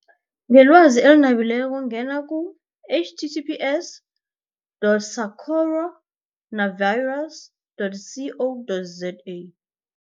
Ngelwazi eli nabileko ngena ku-H T T P S dot sacoro navirus dot C O dot Z A.